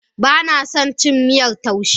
Bana son cin miyar taushe.